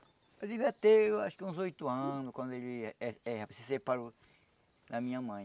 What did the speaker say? Eu devia ter acho que uns oito anos, quando ele eh eh se separou da minha mãe.